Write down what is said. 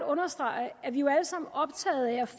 understrege at vi jo alle sammen